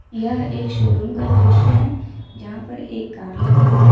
यह एक शोरूम का दृश्य है जहां पर एक कार लगी हुई है।